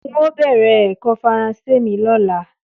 N óò bè̩rè̩ è̩kó̩ Faransé mi ló̩la